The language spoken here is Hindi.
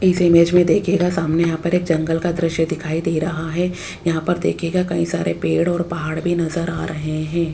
इस इमेज में देखिएगा सामने यहां पर एक जंगल का दृश्य दिखाई दे रहा है यहां पर देखिएगा कई सारे पेड़ और पहाड़ भी नजर आ रहे हैं।